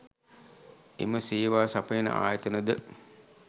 එම සේවා සපයන ආයතනද